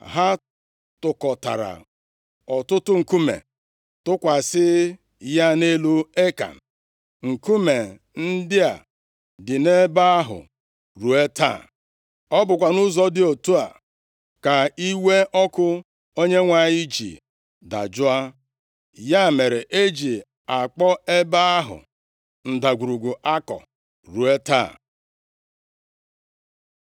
Ha tụkọtara ọtụtụ nkume tụkwasị ya nʼelu Ekan. Nkume ndị a dị nʼebe ahụ ruo taa. Ọ bụkwa nʼụzọ dị otu a ka iwe ọkụ Onyenwe anyị ji dajụọ. Ya mere, e ji akpọ ebe ahụ Ndagwurugwu Akọ ruo taa.